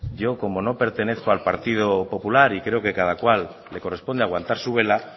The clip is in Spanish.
yo como no pertenezco al partido popular y creo que a cada cual le corresponde aguantar su vela